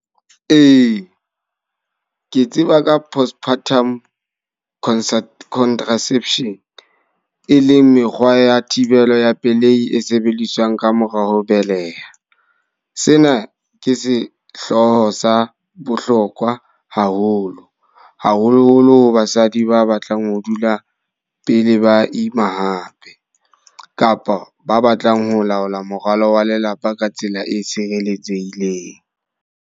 Ee, ke tseba ka postpartum concerto contraception. E leng mekgwa ya thibelo ya pelehi e sebediswang ka mora ho beleha. Sena ke sehloho sa bohlokwa haholo. Haholo-holo ho basadi ba batlang ho dula pele ba ima hape. Kapa ba batlang ho laola morwalo wa lelapa ka tsela e tshireletsehileng.